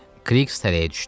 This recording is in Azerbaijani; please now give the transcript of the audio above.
Krix tərəyə düşdü.